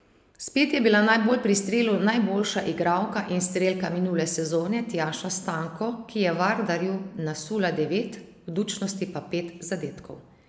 Spet je bila najbolj pri strelu najboljša igralka in strelka minule sezone Tjaša Stanko, ki je Vardarju nasula devet, Budućnosti pa pet zadetkov.